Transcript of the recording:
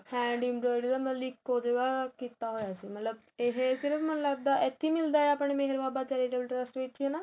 handing ਇੱਕੋ ਜਗ੍ਹਾ ਕੀਤਾ ਹੋਇਆ ਸੀ ਮਤਲਬ ਇਹ ਸਿਰਫ਼ ਮੈਨੂੰ ਲੱਗਦਾ ਇਥੇ ਮਿੱਲਦਾ ਆਪਣੇਂ ਮੇਹਰ ਬਾਬਾ charitable trust ਵਿੱਚ ਹੈਨਾ